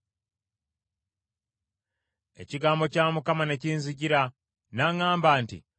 Ekigambo kya Mukama ne kinzijira n’aŋŋamba nti,